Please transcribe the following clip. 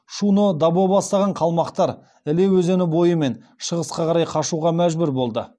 шуно дабо бастапан қалмақтар іле өзені бойымен шығысқа қарай қашуға мәжбүр болды